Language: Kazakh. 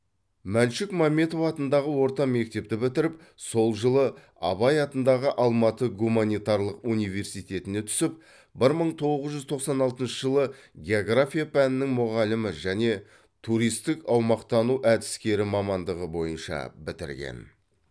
мәншүк мәметова атындағы орта мектепті бітіріп сол жылы абай атындағы алматы гуманитарлық университетіне түсіп бір мың тоғыз жүз тоқсан алтыншы жылы география пәнінің мұғалімі және туристік аумақтану әдіскері мамандығы бойынша бітірген